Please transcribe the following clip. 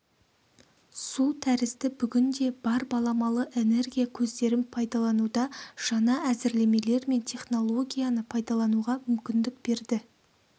су тәрізді бүгінде бар баламалы энергия көздерін пайдалануда жаңа әзірлемелер мен технологияны пайдалануға мүмкіндік берді